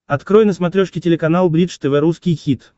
открой на смотрешке телеканал бридж тв русский хит